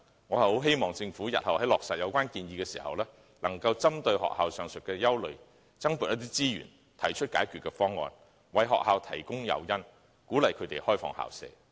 我希望政府日後落實有關建議時，能針對學校的上述憂慮，增撥資源，提出解決方案，為學校提供誘因，鼓勵它們開放校舍。